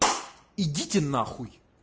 идите нахуй